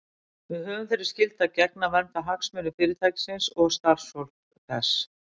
Við höfum þeirri skyldu að gegna að vernda hagsmuni Fyrirtækisins og starfsfólks þess.